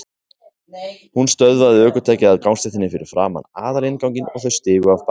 Hún stöðvaði ökutækið á gangstéttinni fyrir framan aðalinnganginn og þau stigu af baki.